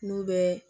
N'u bɛ